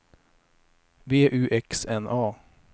V U X N A